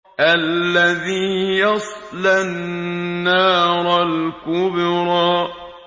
الَّذِي يَصْلَى النَّارَ الْكُبْرَىٰ